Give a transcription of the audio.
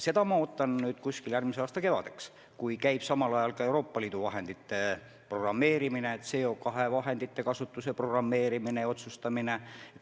Neid ettepanekuid ma ootan järgmise aasta kevadeks, kui käib ka Euroopa Liidu vahendite kasutamise kavandamine ja CO2 kvootidega seotud vahendite üle otsustamine.